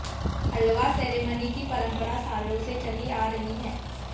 हलवा ceremony की परंपरा सालों से चली आ रही है